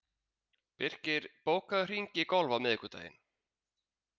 Birkir, bókaðu hring í golf á miðvikudaginn.